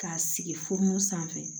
K'a sigi fu sanfɛ